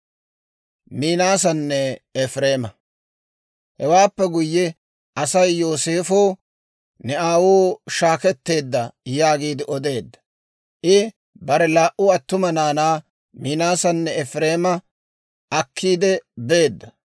Hewaappe guyye Asay Yooseefo, «Ne aawuu saketteedda» yaagiide odeedda. I bare laa"u attuma naanaa Minaasanne Efireema akkiidde beedda.